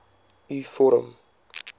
u vorm